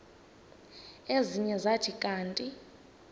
ezinye zathi kanti